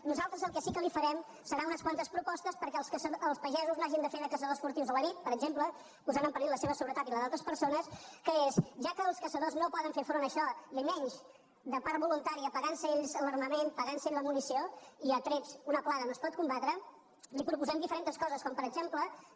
nosaltres el que sí que li farem serà unes quantes propostes perquè els pagesos no hagin de fer de caçadors furtius a la nit per exemple posant en perill la seva seguretat i la d’altres persones que són ja que els caçadors no poden fer front a això i menys de part voluntària pagant se ells l’armament pagant se ells la munició i a trets una plaga no es pot combatre li proposem diferents coses com per exemple que